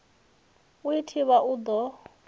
u i thivha u ḓo